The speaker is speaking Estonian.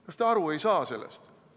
Kas te aru ei saa sellest?